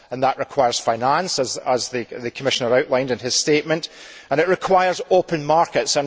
That requires finance as the Commissioner outlined in his statement and it requires open markets.